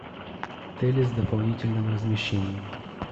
отели с дополнительным размещением